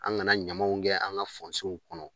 An kana ɲamaw kɛ an ka kɔnɔ